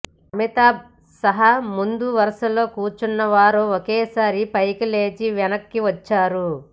అమితాబ్ సహా ముందు వరుసలో కూర్చున్న వారు ఒకేసారి పైకిలేచి వెనక్కివచ్చారు